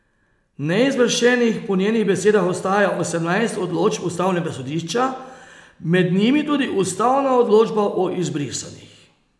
Neizvršenih po njenih besedah ostaja osemnajst odločb ustavnega sodišča, med njimi tudi ustavna odločba o izbrisanih.